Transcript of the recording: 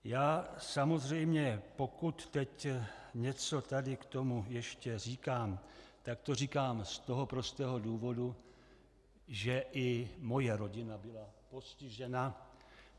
Já samozřejmě, pokud teď něco tady k tomu ještě říkám, tak to říkám z toho prostého důvodu, že i moje rodina byla postižena.